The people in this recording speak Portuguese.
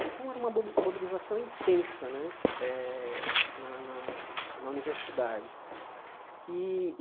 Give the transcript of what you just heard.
Então, era uma mobi mobilização intensa né eh na na na universidade. E